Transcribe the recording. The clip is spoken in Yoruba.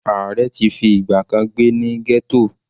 Ààrẹ ti fi ìgbà kan gbé ní ghetto.